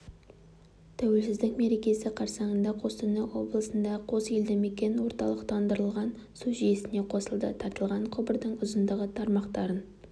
тәуелсіздік мерекесі қарсаңында қостанай облысындағы қос елді мекен орталықтандырылыған су жүйесіне қосылды тартылған құбырдың ұзындығы тармақтарын